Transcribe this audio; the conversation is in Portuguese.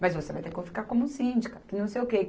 Mas você vai ter que ficar como síndica, que não sei o quê.